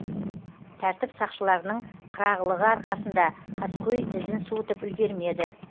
тәртіп сақшыларының қырағылығы арқасында қаскөй ізін суытып үлгермеді